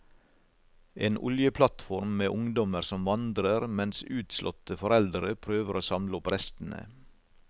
En oljeplattform med ungdommer som vandrer, mens utslåtte foreldre prøver å samle opp restene.